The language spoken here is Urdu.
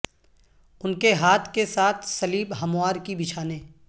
ان کے ہاتھ کے ساتھ سلیب ہموار کی بچھانے